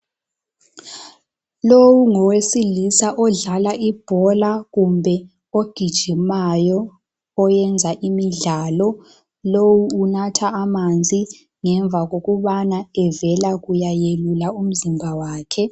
Lowu ngowesilisa odlala ibhola kumbe ogijimayo oyenza imidlalo lowu unatha amanzi ngemva kokubana evela kuyayelula umzimba wakhe.